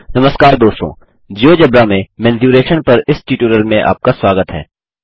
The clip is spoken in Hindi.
नमस्कार दोस्तों जियोजेब्रा में मेंश्योरेशन पर इस ट्यूटोरियल में आपका स्वागत है